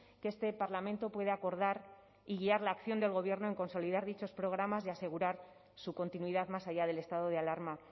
que este parlamento puede acordar y guiar la acción del gobierno en consolidar dichos programas y asegurar su continuidad más allá del estado de alarma